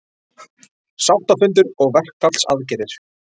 Sáttafundur og verkfallsaðgerðir